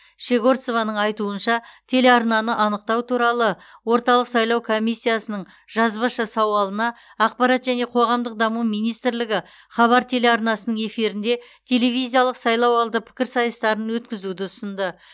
щегорцованың айтуынша телеарнаны анықтау туралы орталық сайлау комиссиясының жазбаша сауалына ақпарат және қоғамдық даму министрлігі хабар телеарнасының эфирінде телевизиялық сайлауалды пікірсайыстарын өткізуді ұсынды